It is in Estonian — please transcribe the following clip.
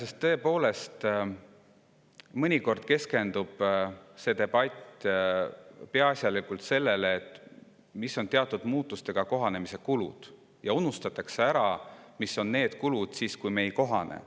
Iseenesest keskendub see debatt mõnikord tõepoolest peaasjalikult sellele, millised on teatud muutustega kohanemise kulud, ja unustatakse ära, millised on need kulud siis, kui me nendega ei kohane.